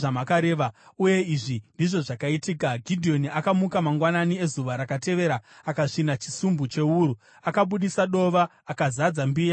Uye izvi ndizvo zvakaitika. Gidheoni akamuka mangwanani ezuva rakatevera; akasvina chisumbu chewuru akabudisa dova, akazadza mbiya nemvura.